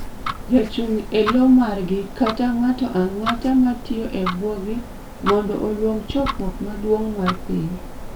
jachung' elo margi kata ng'ato ang'ata ma tiyo e bwogi mondo oluong chokruok maduong' mar piny